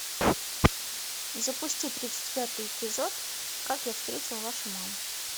запусти тридцать пятый эпизод как я встретил вашу маму